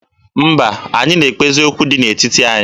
Mba, anyị na-ekpezi okwu dị n'etiti anyị.